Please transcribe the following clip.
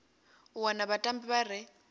u wana vhatambi vha re